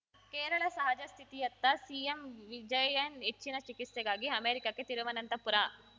ಕೇರಳ ಸಹಜ ಸ್ಥಿತಿಯತ್ತ ಸಿಎಂ ವಿಜಯನ್‌ ಹೆಚ್ಚಿನ ಚಿಕಿತ್ಸೆಗಾಗಿ ಅಮೆರಿಕಕ್ಕೆ ತಿರುವನಂತಪುರ